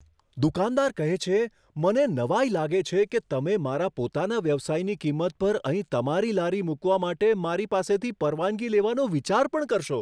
દુકાનદાર કહે છે, મને નવાઈ લાગે છે કે તમે મારા પોતાના વ્યવસાયની કિંમત પર અહીં તમારી લારી મૂકવા માટે મારી પાસેથી પરવાનગી લેવાનો વિચાર પણ કરશો.